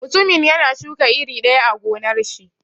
Mutumin yana shuka iri daya a gonnar shi.